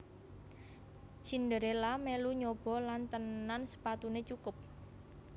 Cinderella melu nyoba lan tenan sepatunè cukup